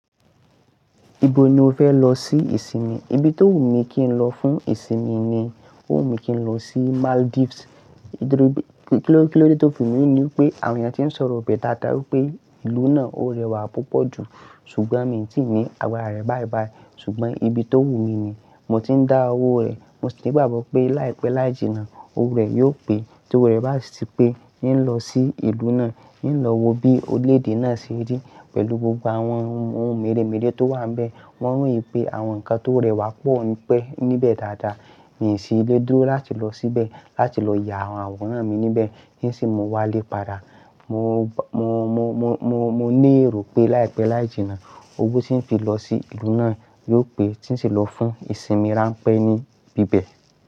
Ibo ni o fẹ lọ sí ìsinmi? Ibi tó wù mí kí n lọ fún ìsinmi ni, ó wù mí kí n lọ sí Maldives. Kí ló, kí ló dé tó fi mí wù ni pé àwọn ènìyàn tí ń sọ̀rọ̀ ọbẹ̀ dáadáa wí pé ìlú náà ó rẹwà púpọ̀ jù. Ṣùgbọ́n mi ò tíì ní àgbará rẹ̀ báyibáyìí. Ṣùgbọ́n ibi tó wù mí ni. Mo ti ń dá owó rẹ̀. Mo sì ní ìgbàgbọ́ pé láìpẹ́ láì jìnnà owó rẹ̀ yóò pé. Tí owó rẹ̀ bá ti sì pé, n lọ sí ìlú náà, n lọ wo bí orílẹ̀-èdè náà ṣe rí pẹ̀lú gbogbo àwọn ohun mèremère tó wà níbẹ̀. Wọ́n royín pé àwọn nǹkan tó rẹwà pọ̀ pẹ́ níbẹ̀ dáadáa. N sì lé dúró láti lọ síbẹ̀, láti lọ ya àwòrán mi níbẹ̀, n sì mo wálé padà. Mo, mo, mo, mo, mo, mo ní èrò pé láìpẹ́ láì jìnnà owó tí ń fi lọ sí ìlú náà yóò pé tí ń sì lọ fún ìsinmi ránpẹ́ níbi bẹ̀.